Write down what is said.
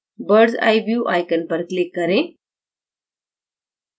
bird s eye view icon पर click करें